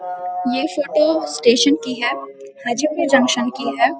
ये photo station की है हाजीपुर जंक्शन की है।